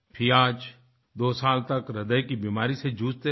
फियाज़दो साल तक हृदय की बीमारी से जूझते रहे